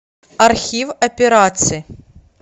архив операций